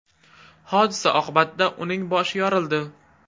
Hodisa oqibatida uning boshi yorildi.